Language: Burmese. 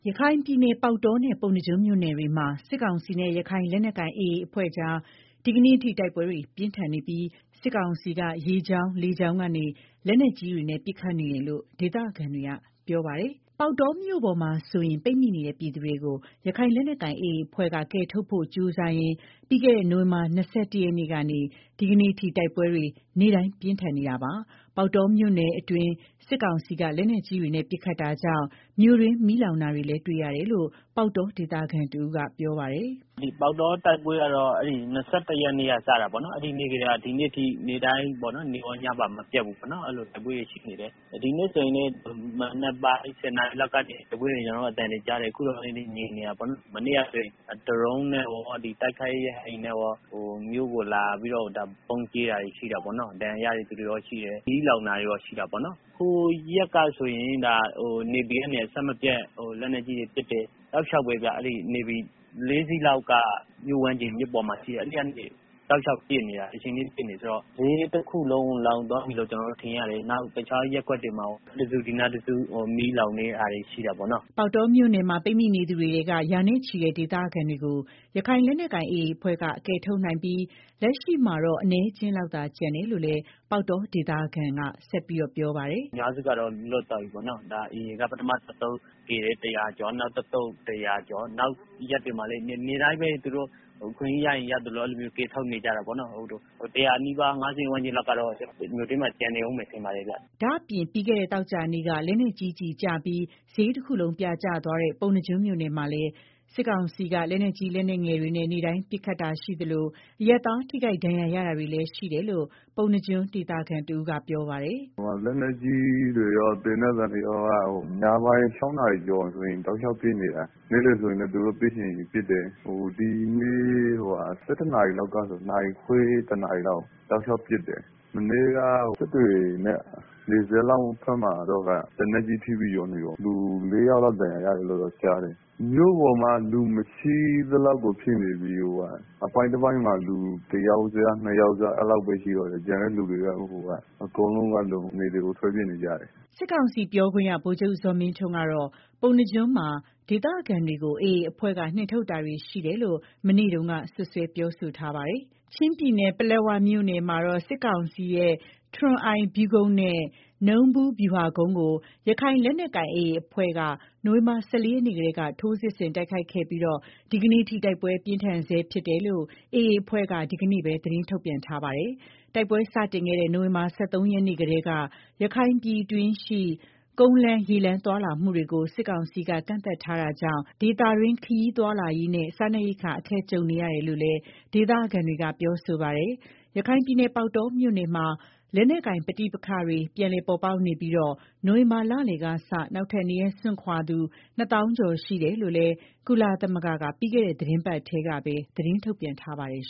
ရခိုင်ပြည်နယ်က ပေါက်တောနဲ့ ပုဏ္ဏားကျွန်းမြို့နယ်တွေမှာ စစ်ကောင်စီနဲ့ ရခိုင်လက်နက် ကိုင်AAအဖွဲ့ကြား ဒီကနေ့အထိ တိုက်ပွဲတွေပြင်းထန်နေပြီး စစ်ကောင်စီက ရေကြောင်း လေကြောင်းကနေ လက်နက်ကြီးတွေနဲ့ ပစ်ခတ်နေတယ်လို့ ဒေသခံတွေ ကပြောဆိုကြ ပါတယ်။ ပေါက်တောမြို့ပေါ်မှာဆိုရင် ပိတ်မိနေတဲ့ ပြည်သူတွေကို ရခိုင်လက်နက်ကိုင်AAအဖွဲ့က ကယ်ထုတ်ဖို့ကြီးစားရင် ပြီးခဲ့တဲ့ နိုင်ဝင်ဘာလ ၂၁ရက်နေ့ကနေ ဒီကနေ့ တိုက်ပွဲတွေ နေ့တိုင်းပြင်းထန်နေတာပါ။ပေါက်တောမြို့အတွင်း စစ်ကောင်စီက လက်နက်ကြီးတွေနဲ့ ပစ်ခတ်တာကြောင့် မြို့တွင်းမီးလောင်နေတာတွေကို တွေ့ရတယ်လို့လည်း ပေါက်တောဒေသခံတဦးကပြောပါတယ်။ “ ပေါက်တော တိုက်ပွဲကတော့ ၂၁ရက်နေ့က စတာပေါ့နော်၊ အဲဒီနေ့ကတည်းက ဒီနေ့အထိ နေ့တိုင်း နေ့ကောညပါမပျက်ဘူးတိုက်ပွဲတွေ ရှိနေတယ်၊ ဒီကနေ့ ဆိုရင်လည်း မနက်ပိုင်း ၁ဝနာရီလောက်ကနေ တိုက်ပွဲသံတွေကြားတယ် အခုတော့ ငြိမ်နေတာပေါေ့နာ်။ မနေ့ကလည်း ဒရုန်းနဲ့ရော တိုက်ခိုက်ရေး ရဟတ်ယာဉ်နဲ့ရော မြို့ကို လာပြီးတော့ ဗုံးကြဲတာတွေရှိတာပေါ့နော်၊ ဒဏ်ရာရတဲ့ သူတွေလည်းရှိတယ်၊ မီးလောင်တာတွေ လည်းရှိတယ်၊ ဟိုရက်ကဆိုရင် နေဗီကနေ အဆက်မပြတ် လက်နက်ကြီးတွေ ပစ်တယ်၊ တောက်လျောက်ပဲဗျာ နေဗီ၄စီးလောက်က ပစ်နေတာ၊ မီးတွေလောင်တယ် ဆိုတော့ ဈေးတခုလုံး လောင်သွားပြီလို့ကျနော်တို့ ထင်ရတယ်၊နောက် ဟိုနားတခု ဒီနားတစု မီးလောင်နေတာရှိတာပေါ့နော်။” ပေါက်တောမြို့မှာပိတ်မိနေသူတွေထဲက ရာနဲ့ချီတဲ့ ဒေသခံတွေကို ရခိုင်လက်နက်ကိုင် AA အဖွဲ့ကကယ်ထုတ်နိုင်ပြီး လက်ရှိမှာတော့အနည်းအကျင်းလောက် သာကျန်တော့ တယ်လို့လည်း ပေါက်တောဒေသခံကဆက်ပြောပါတယ်။ “ကျနော်တို့ အထင် အများစုက လွတ်သွားကြပြီ AA က ပထမ တသုတ်ကယ်တယ်။ ၁ဝဝကျော် နောက်တသုတ် ၁ဝဝကျော် နောက်ရက်တွေမှာလည်း နေ့တိုင်းပဲ သူတို့ အခွင့်ရေးရရင် ရသလို ကယ်ထုတ်နေကြတာပေါ့နော်၊ အများစုက လွတ်သွားပြီထင်ပါတယ်၊ ဒါပေမယ့် ၁ဝဝနီးပါး ၅ဝဝန်းကျင်လောက်ကတော့ မြို့ထဲမှာ ကျန်နေအုံးမယ်ထင်ပါတယ်ဗျာ။” ဒါ့အပြင့် ပြီးခဲ့တဲ့ သောကြာနေ့က လက်နက်ကြီးကျပြီး ဈေးတခုလုံးပြာကျသွားတဲ့ ပုဏ္ဏားကျွန်းမြို့နယ်မှာလည်း စစ်ကောင်စီက လက်နက်ကြီး လက်နက်ငယ်တွေနဲ့ နေ့တိုင်း ပစ်ခတ်နေတာရှိသလို အရပ်သားထိခိုက်ဒဏ်ရာရတာတွေလည်းရှိတယ်လို့ ပုဏ္ဏား ကျွန်းဒေသခံတဦးကပြောပါတယ်။ “ လက်နက်ကြီးတွေရော သေနတ်သံတွေက ညပိုင်း ၆နာရီလောက်ဆိုရင် တောက်လျောက် ပစ်နေတာ၊ နေ့လည်ဆိုရင်လည်း သူတို့ ပစ်ချင်ရင် ပစ်တယ်၊ ဒီနေ့ ၁၁နာရီလောက်ကစပြီး တောက်လျောက်ပစ်တယ်၊ မနေ့ကတော့ နယ်ဘက်က စစ်တွေနဲ့နီးတဲ့ ရွာမှာတော့ လက်နက်ကြီးကျပြီး ၄ယောက်လောက် ဒဏ်ရာရတယ်လို့ ကြားတယ်၊ မြို့ပေါ်မှာက လူမရှိသလောက်ဖြစ်နေပြီ အပိုင်းတပိုင်းမှာ လူတယောက်စ ၂ယောက် စလောက်ပဲရှိတော့တာ ကျန်တဲ့ သူတွေ အကုန်လုံးက နယ်တွေကို ထွက်ပြေးနေကြတယ်။” စစ်ကောင်စီပြောခွင့်ရ ဗိုလ်ချုပ်ဇော်မင်းထွန်းကတော့ ပုဏ္ဏားကျွန်းမှာ ဒေသခံတွေကို AA အဖွဲ့က နှင်ထုတ်တာတွေ ရှိနေတယ်လို့ မနေ့တုန်းကပဲ စွပ်စွဲပြောဆိုထားပါတယ်။ ချင်းပြည်နယ် ပလက်ဝမြို့နယ်မှာတော့ စစ်ကောင်စီရဲ့ ထရွန်အိုင်ဗျူးကုန်းနဲ့ နူးဗူးဗျူဟာကုန်းကို ရခိုင်လက်နက်ကိုင်AAအဖွဲ့က နိုဝင်ဘာလ ၁၄ရက်နေ့ကတည်းက ထိုးစစ်ဆင်တိုက်ခိုက်ခဲ့ပြီး ဒီကနေ့အထိတိုက်ပွဲပြင်းထန်နေဆဲဖြစ်တယ်လို့ AA အဖွဲ့က ဒီကနေ့ပဲ သတင်းထုတ်ပြန်ထားတာပါ။ တိုက်ပွဲစတင်ခဲ့တဲ့ နိုဝင်ဘာလ ၁၃ရက်နေ့ကတည်း ရခိုင်ပြည်တွင်းရှိ ကုန်းလမ်းရေလမ်း သွားလာမှုတွေကို စစ်ကောင်စီက ကန့်သတ်ထားတာကြောင့် ဒေသတွင်း ခရီးသွားလာရေးနဲ့ စားနပ်ရိက္ခာ အခက်ကြုံနေရတယ်လို့လည်း ဒေသခံတွေက ပြောဆိုကြပါတယ်။ ရခိုင်ပြည်နယ် ပေါက်တောမြို့နယ်မှာ လက်နက်ကိုင် ပဋိပက္ခတွေ ပြန်လည်ပေါ်ပေါက်နေပြီး နိုဝင်ဘာလလယ်ကစ နောက်ထပ်နေရပ်စွန့်ခွာရသူ ၂ သောင်းကျော် ရှိတယ်လို့လည်း ကုလသမဂ္ဂက ပြီးခဲ့တဲ့ သီတင်းပတ်ထဲမှာပဲ သတင်းထုတ်ပြန်ထားပါတယ်